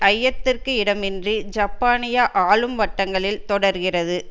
ஐயத்திற்கு இடமின்றி ஜப்பானிய ஆளும் வட்டங்களில் தொடர்கிறது